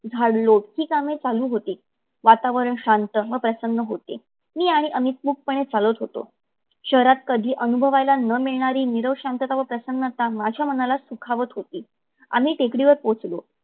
झाडलोट ही कामे चालू होती. वातावरण शांत व प्रसन्न होते. मी आणि अमित निमुटपणे चलत होतो. शहरात कधी न अनुभवयाला मिळणारी निरव शांतता व प्रसन्नता माझ्या मनाला सुखावत होती. आम्ही टेकडीवर पोहचलो.